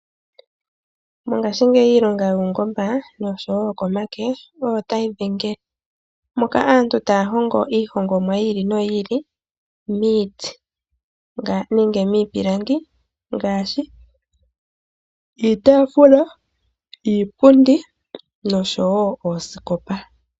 Mongashingeyi ngeyi iilonga yuungomba osho woo yokomake oyo tayi eta omboloto poshitafula. Aantu ohaya ndulukapo iinima oyindji okuzilila miihongomwa ngaashi iipilangi moka haya nduluka mo iitafula, iipundi nosho woo iitafula.